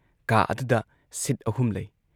ꯀꯥ ꯑꯗꯨꯗ ꯁꯤꯠ ꯑꯍꯨꯝ ꯂꯩ ꯫